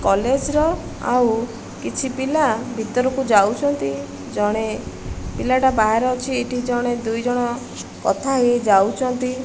College ର ଆଉ କିଛି ପିଲା ଭିତରକୁ ଯାଉଛନ୍ତି ଜଣେ ପିଲାଟା ବାହାରେ ଅଛି ଏଠି ଜଣେ ଦୁଇଜଣ କଥା ହେଇ ହେଇ ଯାଉଚନ୍ତି।